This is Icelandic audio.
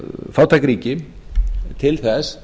fátæk ríki til þess